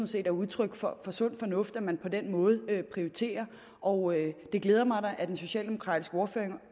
set er udtryk for sund fornuft at man på den måde prioriterer og det glæder mig da at den socialdemokratiske ordfører